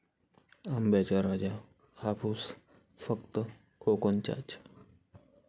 आंब्याचा राजा हापूस फक्त कोकणचाच!